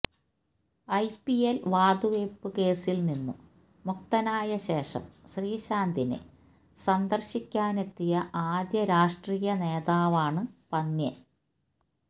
IPL വാതുവയ്പു കേസിൽ നിന്നു മുക്തനായശേഷം ശ്രീശാന്തിനെ സന്ദർശിക്കാനെത്തിയ ആദ്യ രാഷ്ട്രീയ നേതാവാണു പന്ന്യൻ